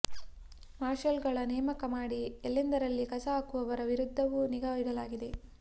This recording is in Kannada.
ಮಾರ್ಷಲ್ಗಳ ನೇಮಕ ಮಾಡಿ ಎಲ್ಲೆಂದರಲ್ಲಿ ಕಸ ಹಾಕುವವರ ವಿರುದ್ಧವೂ ನಿಗಾ ಇಡಲಾಗಿದೆ